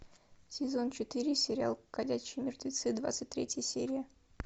сезон четыре сериал ходячие мертвецы двадцать третья серия